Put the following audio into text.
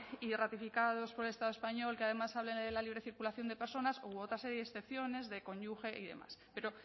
y ratificados por el estado español que además hable de la libre circulación de personas u otra serie de excepciones de cónyuge y demás pero